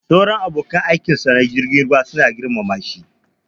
Sauran abokan aikinsa na jirgin ruwa suna girmama shi